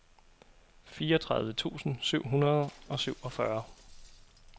fireogtredive tusind syv hundrede og syvogfyrre